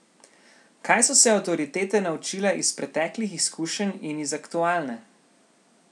Kaj so se avtoritete naučile iz preteklih izkušenj in iz aktualne?